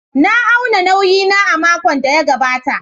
Na auna nauyi na a makon da ya gabata.